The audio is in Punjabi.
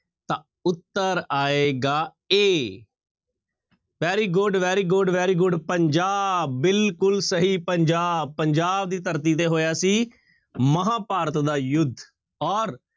ਉੱਤਰ ਆਏਗਾ a very good, very good, very good Punjab ਬਿਲਕੁਲ ਸਹੀ ਪੰਜਾਬ ਪੰਜਾਬ ਦੀ ਧਰਤੀ ਤੇ ਹੋਇਆ ਸੀ ਮਹਾਂਭਾਰਤ ਦਾ ਯੁੱਧ ਔਰ